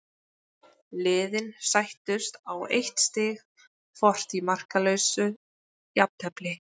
Liðin sættust á eitt stig hvort í markalausu jafntefli.